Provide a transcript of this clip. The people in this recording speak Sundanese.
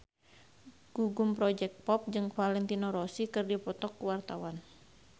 Gugum Project Pop jeung Valentino Rossi keur dipoto ku wartawan